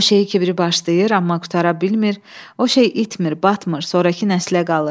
O şeyi ki biri başlayır, amma qurtara bilmir, o şey itmir, batmır, sonrakı nəslə qalır.